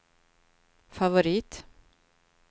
favorit